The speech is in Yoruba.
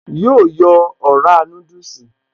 Yóò yọ ọ̀rá núdùsì